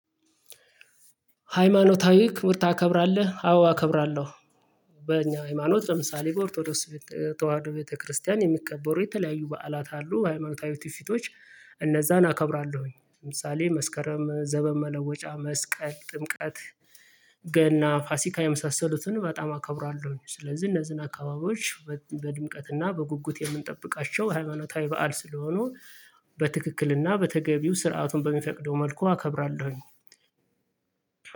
ሃይማኖታዊ ክብር ታከብራለህ አዎ እከብራለሁ። በኛ ሃይማኖት ለምሳሌ በኦርቶዶክ ተዋህዶ ቤተክርስቲያን የሚቀበሩ የተለያዩ በዓላት አሉ ሃይማኖታዊ ትውፊቶች እነዚያን አከብራለሁኝ። ለምሳሌ መስከረም ዘመን መለወጫ መስቀል ጥምቀት ገና ፋሲካ የመሳሰሉትን በጣም አከብራለሁ። ስለዚህ እነዚህን አካባቢዎች በድምቀትና በጉጉት የምንጠብቃቸው ሃይማኖታዊ በዓል ስለሆኑ በትክክልና በተገቢው ስርዓቱን በሚፈቅደው መልኩ አከብራለሁኝ።